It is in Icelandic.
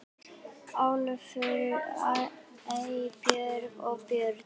Ólafur, Eybjörg og börn.